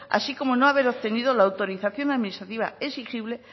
así como no haber obtenido la autorización administrativa exigible